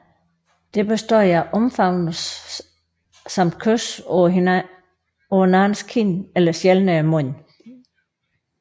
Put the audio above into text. Det bestod af omfavnelse samt kys på hinandens kind eller sjældnere mund